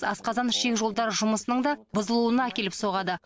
асқазан ішек жолдары жұмысының да бұзылуына әкеліп соғады